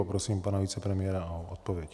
Poprosím pana vicepremiéra o odpověď.